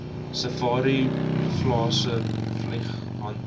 safari plase vlieghengel